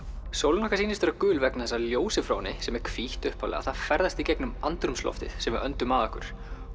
sólin okkar sýnist vera gul vegna þess að ljósið frá henni sem er hvítt upphaflega ferðast í gegnum andrúmsloftið sem við öndum að okkur